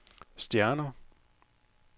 stjerner